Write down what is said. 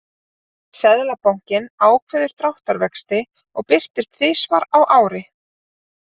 Seðlabankinn ákveður dráttarvexti og birtir tvisvar á ári.